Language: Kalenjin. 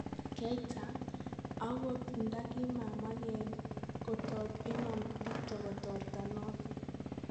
Keita , akot nda kimamangee kotook Imam Dicko kotortaa noton .